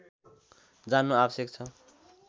जान्नु आवश्यक छ